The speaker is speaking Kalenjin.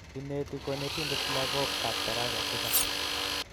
Ineti konetindet lagook kab tarasa tisap